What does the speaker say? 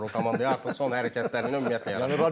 Yaraşmır o komandaya artıq son hərəkətlərinə ümumiyyətlə yaraşmır.